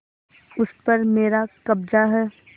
उस पर मेरा कब्जा है